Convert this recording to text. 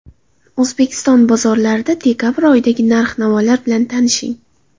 O‘zbekiston bozorlarida dekabr oyidagi narx-navolar bilan tanishing.